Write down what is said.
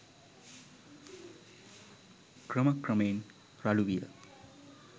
ක්‍රම ක්‍රමයෙන් රළු විය